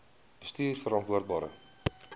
bestuurverantwoordbare